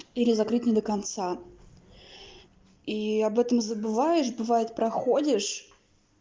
или закрыть не до конца и об этом забываешь бывает проходишь